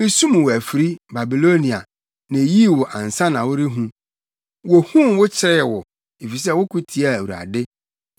Misum wo afiri, Babilonia, na eyii wo ansa na worehu; wohuu wo kyeree wo efisɛ woko tiaa Awurade.